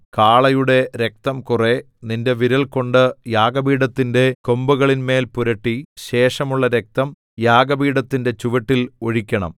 കാളയുടെ രക്തം കുറെ നിന്റെ വിരൽകൊണ്ട് യാഗപീഠത്തിന്റെ കൊമ്പുകളിന്മേൽ പുരട്ടി ശേഷമുള്ള രക്തം യാഗപീഠത്തിന്റെ ചുവട്ടിൽ ഒഴിക്കണം